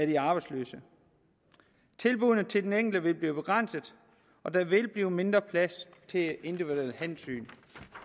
de arbejdsløse tilbuddene til den enkelte vil blive begrænset og der vil blive mindre plads til individuelle hensyn